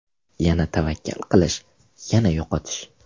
Yana tavakkal qilish, yana yo‘qotish.